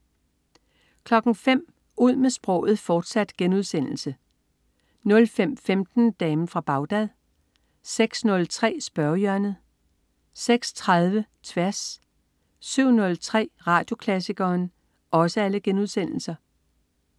05.00 Ud med sproget, fortsat* 05.15 Damen fra Bagdad* 06.03 Spørgehjørnet* 06.30 Tværs* 07.03 Radioklassikeren*